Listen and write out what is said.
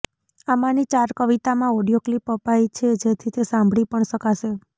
આમાંની ચાર કવિતામાં ઓડિયો ક્લીપ અપાઈ છે જેથી તે સાંભળી પણ શકાશે